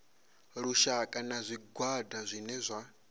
lushaka na zwigwada zwine zwa